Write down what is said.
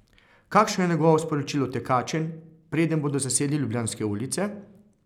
Kakšno je njegovo sporočilo tekačem, preden bodo zasedli ljubljanske ulice?